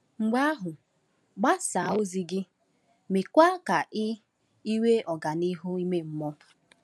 Mgbe ahụ gbasaa ozi gị, meekwa ka i i nwee ọganihu ime mmụọ.